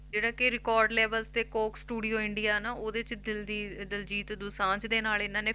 ਜਿਹੜਾ ਕਿ record label ਤੇ ਕੋਕ studio ਇੰਡੀਆਂ ਨਾ ਉਹਦੇ 'ਚ ਦਲਜੀ~ ਦਲਜੀਤ ਦੋਸਾਂਝ ਦੇ ਨਾਲ ਇਹਨਾਂ ਨੇ